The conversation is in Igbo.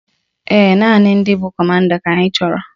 Ee, naanị ndị bụ kọmanda ka anyị chọrọ